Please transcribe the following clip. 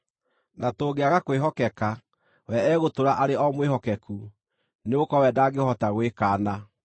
na tũngĩaga kwĩhokeka, we egũtũũra arĩ o mwĩhokeku, nĩgũkorwo we ndangĩhota gwĩkaana.